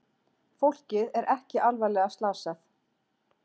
Fólkið er ekki alvarlega slasað